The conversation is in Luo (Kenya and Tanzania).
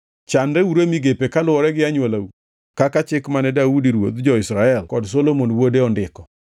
Chanreuru e migepe kaluwore gi anywolau kaka chik mane Daudi ruodh jo-Israel kod Solomon wuode ondiko.